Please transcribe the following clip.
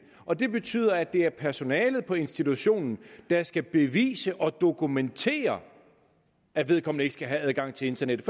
og det betyder at det er personalet på institutionen der skal bevise og dokumentere at vedkommende ikke skal have adgang til internettet